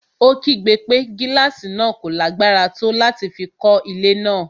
Ó kígbe pé gílàsì náà kò lágbára tó láti fi kọ́ ilé náà.